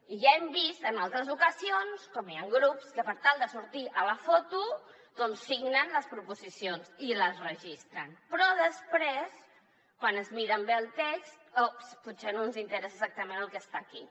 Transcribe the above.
i ja hem vist en altres ocasions com hi ha grups que per tal de sortir a la foto doncs signen les proposicions i les registren però després quan es miren bé el text oops potser no ens interessa exactament el que està aquí